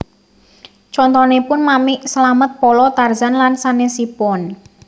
Contonipun Mamik Slamet Polo Tarzan lan sanesipun